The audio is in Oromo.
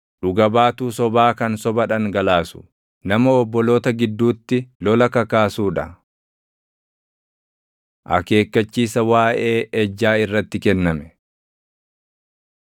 dhuga baatuu sobaa kan soba dhangalaasu, nama obboloota gidduutti lola kakaasuu dha. Akeekkachiisa Waaʼee Ejjaa Irratti Kenname